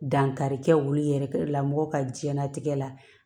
Dankari kɛ olu yɛrɛ la mɔgɔ ka diɲɛnatigɛ la